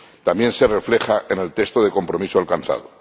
también se refleja en el texto de compromiso alcanzado.